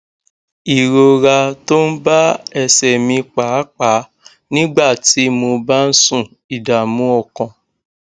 ìrora tó ń bá ẹsè mi pàápàá nígbà tí mo bá ń sùn ìdààmú ọkàn